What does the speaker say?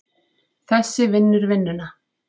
Þessi vinnur vinnuna!